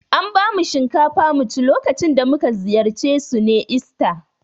An bamu shinkafa mu ci lokacin da mu ka ziyarce su ne ista.